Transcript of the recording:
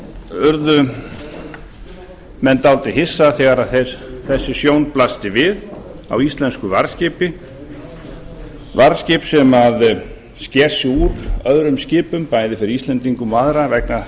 urðu menn dálítið hissa þegar þessi sjón blasti við á íslensku varðskipi varðskip sem sker sig úr öðrum skipum bæði fyrir íslendingum og aðra vegna